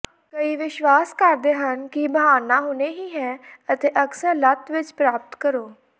ਕਈ ਵਿਸ਼ਵਾਸ ਕਰਦੇ ਹਨ ਕਿ ਬਹਾਨਾ ਹੁਣੇ ਹੀ ਹੈ ਅਤੇ ਅਕਸਰ ਲਤ ਵਿੱਚ ਪ੍ਰਾਪਤ ਕਰੋ